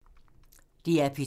DR P2